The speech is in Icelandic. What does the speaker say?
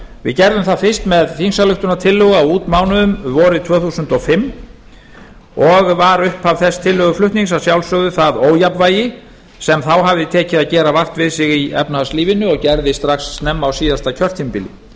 við gerðum það fyrst með þingsályktunartillögu á útmánuðum vorið tvö þúsund og fimm og var upphaf þess tillöguflutnings að sjálfsögðu það ójafnvægi sem þá hafði tekið að gera vart við sig í efnahagslífinu og gerði strax snemma á síðasta kjörtímabili